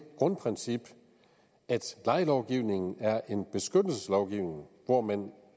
grundprincip at lejelovgivningen er en beskyttelseslovgivning hvor man